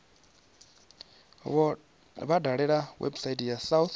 vha dalele website ya south